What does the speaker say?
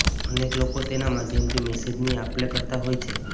અનેક લોકો તેના માધ્યમથી મેસેજની આપલે કરતા હોય છે